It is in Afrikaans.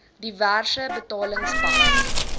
diverse betalings bas